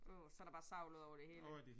Åh og så der bare savl udover det hele